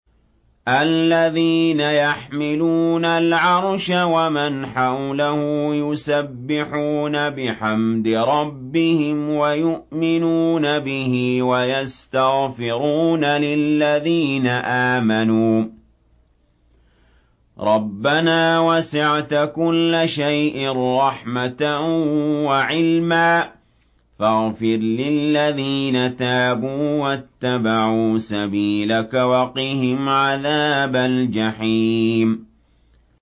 الَّذِينَ يَحْمِلُونَ الْعَرْشَ وَمَنْ حَوْلَهُ يُسَبِّحُونَ بِحَمْدِ رَبِّهِمْ وَيُؤْمِنُونَ بِهِ وَيَسْتَغْفِرُونَ لِلَّذِينَ آمَنُوا رَبَّنَا وَسِعْتَ كُلَّ شَيْءٍ رَّحْمَةً وَعِلْمًا فَاغْفِرْ لِلَّذِينَ تَابُوا وَاتَّبَعُوا سَبِيلَكَ وَقِهِمْ عَذَابَ الْجَحِيمِ